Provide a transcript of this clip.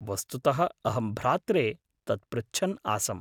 वस्तुतः अहं भ्रात्रे तत् पृच्छन् आसम्।